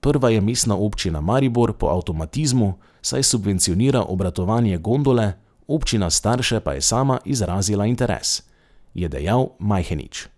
'Prva je Mestna občina Maribor po avtomatizmu, saj subvencionira obratovanje gondole, občina Starše pa je sama izrazila interes,' je dejal Majhenič.